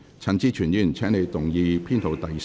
陳志全議員，請你動議編號3的修正案。